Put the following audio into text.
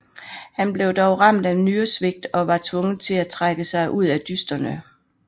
Han blev dog ramt af nyresvigt og var tvunget til at trække sig ud af dysterne